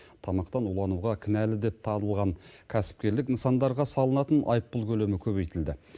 тамақтан улануға кінәлі деп табылған кәсіпкерлік нысандарға салынатын айыппұл көлемі көбейтілді